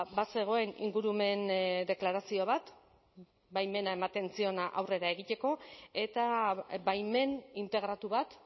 bazegoen ingurumen deklarazio bat baimena ematen ziona aurrera egiteko eta baimen integratu bat